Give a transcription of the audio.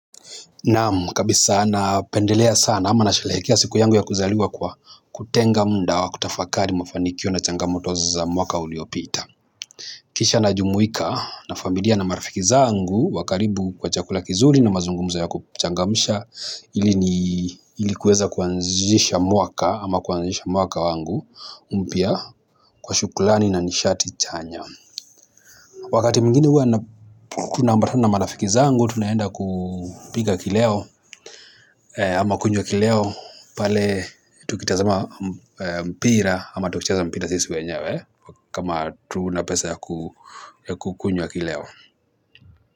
Nam kabisa na pendelea sana ama nashelekia siku yangu ya kuzaliwa kwa kutenga mda wa kutafakari mufanikio na changamoto za mwaka uliopita. Kisha na jumuika na familia na marafiki zaangu wakaribu kwa chakula kizuri na mazungumza ya kuchangamisha ilikuweza kuanzisha mwaka ama kuanzisha mwaka wangu mpia kwa shukulani na nishati chanya. Wakati mwingine huwa na tuna ambatana na marafiki zangu, tunaenda kupiga kileo ama kunywa kileo, pale tukitazama mpira ama tukicheza mpira sisi wenyewe. Kama hatuna pesa ya kukunywa kileo.